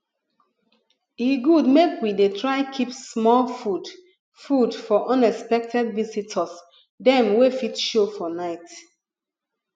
e good make we dey try keep small food food for unexpected visitors dem wey fit show for night